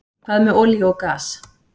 Hvað með olíu og gas?